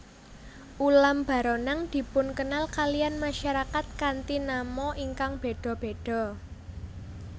Ulam baronang dipunkenal kaliyan masarakat kanthi nama ingkang béda béda